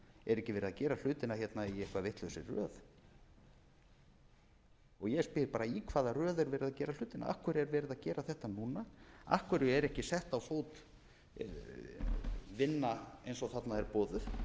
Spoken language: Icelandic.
er ekki verið að gera hlutina hérna í eitthvað vitlausri röð ég spyr bara í hvaða röð er verið að gera hlutina af hverju er verið að gera þetta núna af hverju er ekki sett á fót vinna eins og þarna er